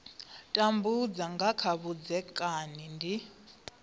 tambudza nga kha vhudzekani ndi